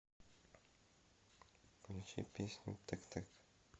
включи песню тэк тэк